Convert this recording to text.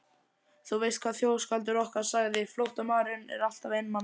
Þú veist hvað þjóðskáldið okkar sagði, flóttamaðurinn er alltaf einmana.